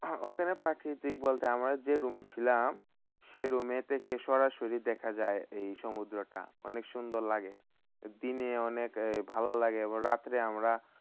ওখানে প্রাকৃতিক বলতে আমরা যে, room এ ছিলাম, সেই room এ থেকে সরাসরি দেখা যায় এই সমুদ্রটা। অনেক সুন্দর লাগে। দিনে অনেক ভালো লাগে। রাত্রে আমরা